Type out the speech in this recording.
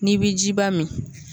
N'i bi jiba min